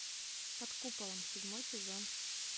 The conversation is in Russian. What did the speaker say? под куполом седьмой сезон